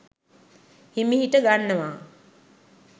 හිමිහිට ගන්නවා